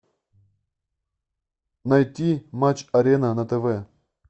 найти матч арена на тв